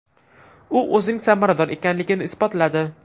U o‘zining samarador ekanligini isbotladi.